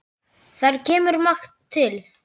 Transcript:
Þar kemur margt til.